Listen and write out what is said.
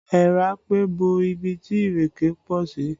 Èèrà pé bo ibi tí ìrèké pọ̀ sí